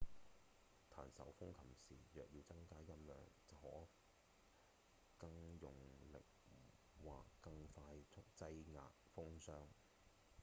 彈手風琴時若要增大音量可更用力或更快速擠壓風箱